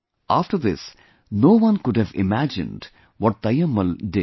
After this, no one could have imagined what Taimmal did